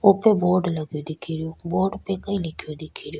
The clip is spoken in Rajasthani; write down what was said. वो पे बोर्ड लगो दिखे रो बोर्ड पे कई लिखयो दिखे रो।